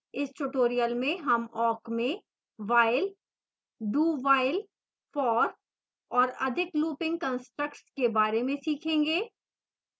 इस tutorial में हम awk में while dowhile for और अधिक looping constructs के बारे में सीखेंगे